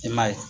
I m'a ye